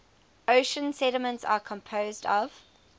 ocean sediments are composed of